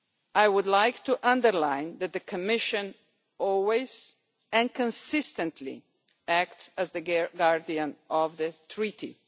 I would like to underline that the Commission always, and consistently, acts as the guardian of the Treaties.